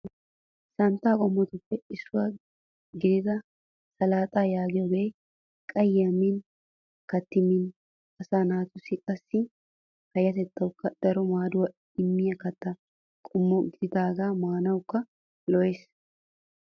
Santta qommotuppe issuwa gidida salaaxaa yaagiyogee qayye min kattidi min asaa naatussi qassi payatettawukka daro maaduwa immiya katta qommo gidaagee maanawukka lo'es.